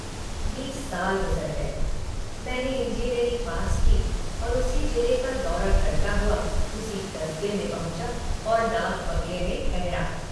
बीस साल गुज़र गए। मैंने इंजीनियरी पास की और उसी जिले का दौरा करता हुआ उसी कस्बे में पहुँचा और डाक बंगले में ठहरा।